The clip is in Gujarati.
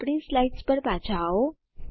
આપણી સ્લીદ્સ પર પાછા આવો